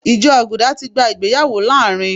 Ìjọ Àgùdà ti gba ìgbéyàwó láàárín